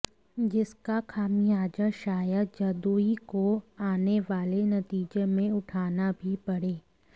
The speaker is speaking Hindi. जिसका खामियाजा शायद जदयू को आने वाले नतीजे में उठाना भी पड़े